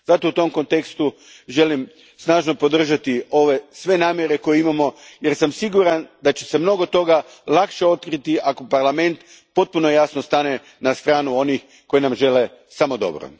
Zato u tom kontekstu želim snažno podržati sve namjere koje imamo jer sam siguran da će se mnogo toga lakše otkriti ako Parlament potpuno jasno stane na stranu onih koji nam žele samo dobro.